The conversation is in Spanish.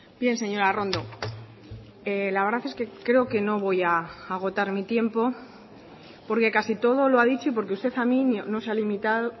bien señora arrondo la verdad es que creo que no voy a agotar mi tiempo porque casi todo lo ha dicho y porque usted a mí no se ha limitado